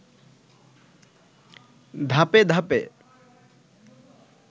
ধাপে ধাপে